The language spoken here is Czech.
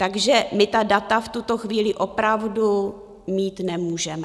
Takže my ta data v tuto chvíli opravdu mít nemůžeme.